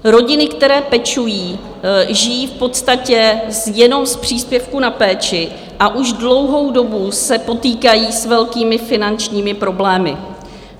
Rodiny, které pečují, žijí v podstatě jenom z příspěvku na péči a už dlouhou dobu se potýkají s velkými finančními problémy.